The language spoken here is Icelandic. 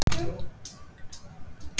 Er komið nýtt tíst?